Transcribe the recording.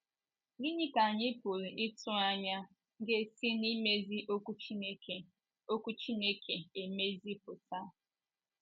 Gịnị ka anyị pụrụ ịtụ anya ga - esi n’imezi Okwu Chineke Okwu Chineke émezi pụta?